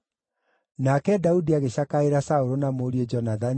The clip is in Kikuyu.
Nake Daudi agĩcakaĩra Saũlũ na mũriũ Jonathani,